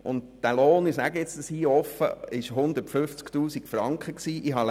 Dieser Lohn betrug 150 000 Franken.